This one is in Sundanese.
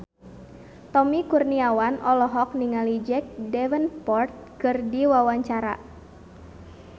Tommy Kurniawan olohok ningali Jack Davenport keur diwawancara